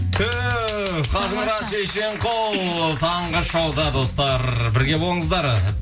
түһ қажымұрат шешенқұл таңғы шоуда достар бірге болыңыздар